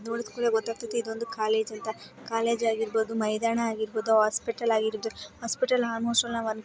ನೋಡಿದ ಕೂಡಲೇ ಗೊತ್ತಾಗ್ತಿದೆ ಇದೊಂದು ಕಾಲೇಜ್ ಅಂತ ಕಾಲೇಜ್ ಆಗಿರಬಹುದು ಮೈದಾನ ಆಗಿರಬಹುದು ಹಾಸ್ಪಿಟಲ್ ಆಗಿರುತ್ತೆ ಹಾಸ್ಪಿಟಲ್ ಆಲ್ಮೋಸ್ಟ್ ಆಲ್ ನಾವ್.